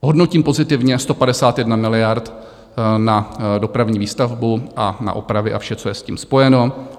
Hodnotím pozitivně 151 miliard na dopravní výstavbu a na opravy a vše, co je s tím spojeno.